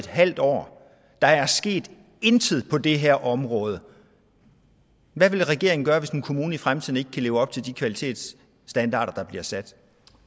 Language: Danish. halv år og der er sket intet på det her område hvad vil regeringen gøre hvis en kommune i fremtiden ikke kan leve op til de kvalitetsstandarder der bliver sat